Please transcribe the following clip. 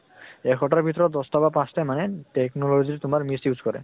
এশ টাৰ ভিতৰত দশ টা বা পাঁছ টাই মানে technology ৰ তোমাৰ miss use কৰে।